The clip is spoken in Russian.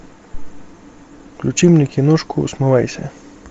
включи мне киношку смывайся